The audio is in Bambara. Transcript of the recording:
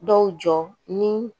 Dɔw jɔ ni